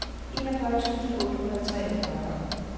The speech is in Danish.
enogfyrre tusind otte hundrede og toogfyrre